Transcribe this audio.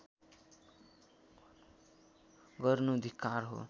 गर्नु धिक्कार हो